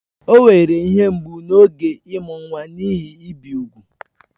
O nwere ihe mgbu n'oge ịmụ nwa n'ihi ibi úgwù